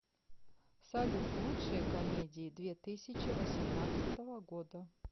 салют лучшие комедии две тысячи восемнадцатого года